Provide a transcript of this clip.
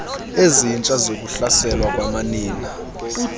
ezintsha zokuhlaselwa kwamanina